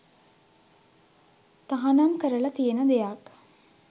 තහනම් කරලා තියෙන දෙයක්‌.